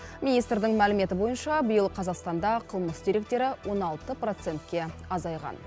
министрдің мәліметі бойынша биыл қазақстанда қылмыс деректері он алты процентке азайған